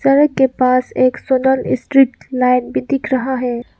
सड़क के पास एक सोलर स्ट्रीट लाइट भी दिख रहा है।